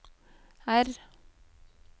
R